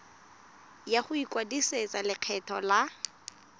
ya go ikwadisetsa lekgetho la